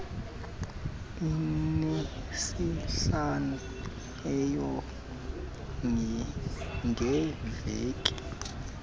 anesihlanu eeyure ngeveki